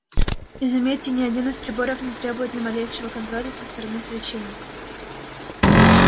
и заметьте ни один из приборов не требует ни малейшего контроля со стороны священников